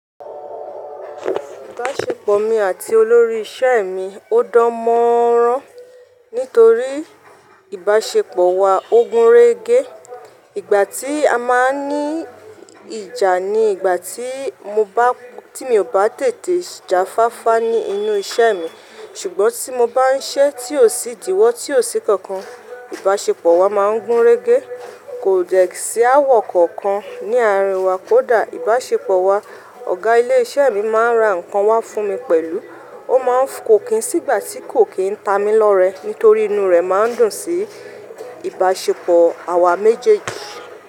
Ìbáṣepọ̀ mi àti olórí iṣẹ́ mi ó dán mọ́ rán nítorí ìbáṣepọ̀ wa ó gúnrégé. Ìgbà tí a máa ń ní ìjà ni ìgbà tí mi ò bá tètè jáfáfá ní inú iṣẹ́ mi. Ṣùgbọ́n tí mo bá ń ṣe tí ó sì díwọ́ tí ó sì kankan, ìbáṣepọ̀ wa máa ń gúnrégé. Kò dẹ́ sí aawò kankan ní àárín wa kódà ìbáṣepọ̀ wa. Ọ̀gá ilé iṣẹ́ mi máa ń ra ǹkan wá fún mi pẹ̀lú. Ó máa ń kó kin sígbà tí kò kín ń ta mi lọ́rẹ́ nítorí inú rẹ̀ máa ń dùn sí ìbáṣepọ̀ àwa méjèèjì.